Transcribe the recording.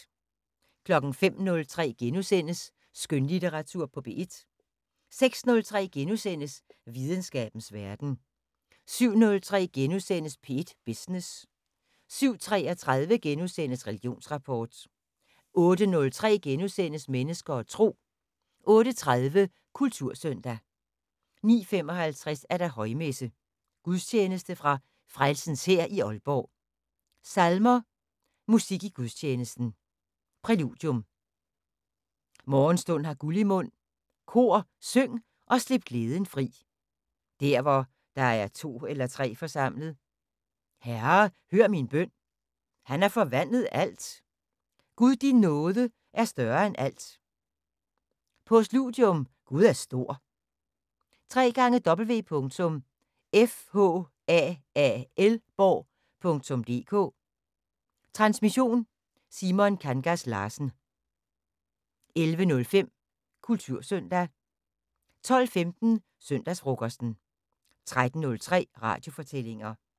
05:03: Skønlitteratur på P1 * 06:03: Videnskabens Verden * 07:03: P1 Business * 07:33: Religionsrapport * 08:03: Mennesker og Tro * 08:30: Kultursøndag 09:55: Højmesse - Gudstjeneste fra Frelsens Hær i Aalborg. Salmer: Musik i gudstjenesten: Præludium: "Morgenstund har guld i mund". Kor: "Syng og slip glæden fri", "Der, hvor der er to eller tre forsamlet", "Herre, hør min bøn", "Han har forvandlet alt", "Gud din nåde er større end alt". Postludium: "Gud er stor". www.fhaalborg.dk Transmission: Simon Kangas Larsen. 11:05: Kultursøndag 12:15: Søndagsfrokosten 13:03: Radiofortællinger